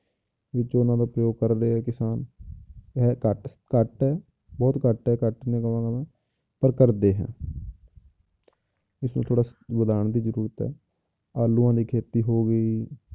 ਵਿੱਚ ਉਹਨਾਂ ਦਾ ਪ੍ਰਯੋਗ ਕਰਦੇ ਹੈ ਕਿਸਾਨ ਹੈ ਘੱਟ ਘੱਟ ਹੈ, ਬਹੁਤ ਘੱਟ ਹੈ ਘੱਟ ਨੀ ਕਹਾਂਗਾ ਮੈਂ ਪਰ ਕਰਦੇ ਹਨ ਇਸਨੂੰ ਥੋੜ੍ਹਾ ਵਧਾਉਣ ਦੀ ਜ਼ਰੂਰਤ ਹੈ, ਆਲੂਆਂ ਦੀ ਖੇਤੀ ਹੋ ਗਈ,